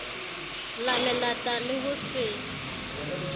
la melata le ho se